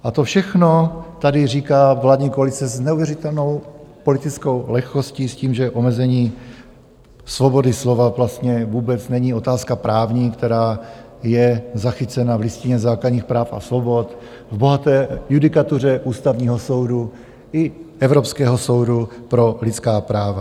A to všechno tady říká vládní koalice s neuvěřitelnou politickou lehkostí s tím, že omezení svobody slova vlastně vůbec není otázka právní, která je zachycena v Listině základních práv a svobod, v bohaté judikatuře Ústavního soudu i Evropského soudu pro lidská práva.